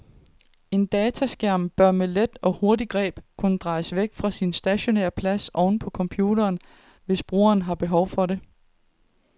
En dataskærm bør med et let og hurtigt greb kunne drejes væk fra sin stationære plads oven på computeren, hvis brugeren har behov for det.